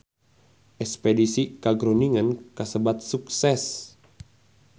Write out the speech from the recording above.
Espedisi ka Groningen kasebat sukses